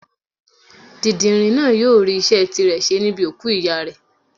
Dìndìnrìn náà yóò rí iṣẹ́ tirẹ̀ ṣe níbi òkú ìyá rẹ̀.